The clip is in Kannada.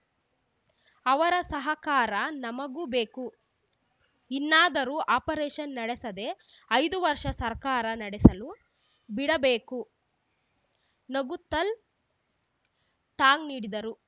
ಅವರ ಸಹಕಾರ ನಮಗೂ ಬೇಕು ಇನ್ನಾದರೂ ಅಪರೇಷನ್‌ ನಡೆಸದೆ ಐದು ವರ್ಷ ಸರ್ಕಾರ ನಡೆಸಲು ಬಿಡಬೇಕು ನಗುತ್ತಲ್‌ ಟಾಂಗ್‌ ನೀಡಿದರು